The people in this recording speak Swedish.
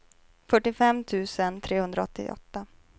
fyrtiofem tusen trehundraåttioåtta